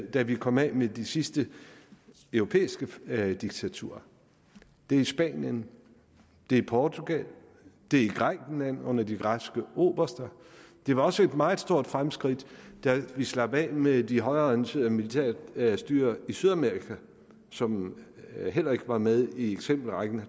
da vi kom af med de sidste europæiske diktaturer det er spanien det er portugal det er grækenland under de græske oberster det var også et meget stort fremskridt da vi slap af med de højreorienterede militærstyrer i sydamerika som heller ikke var med i eksempelrækken